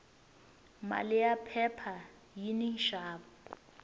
mali ya phepha yini nxavo